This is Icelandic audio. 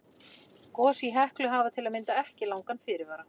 Gos í Heklu hafa til að mynda ekki langan fyrirvara.